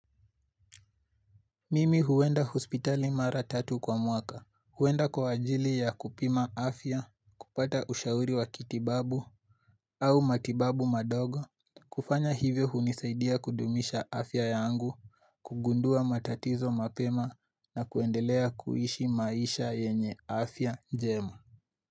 Mimi huenda hospitali mara tatu kwa mwaka huenda kwa ajili ya kupima afya kupata ushauri wa kitibabu au matibabu madogo kufanya hivyo hunisaidia kudumisha afya yangu kugundua matatizo mapema na kuendelea kuishi maisha yenye afya njema.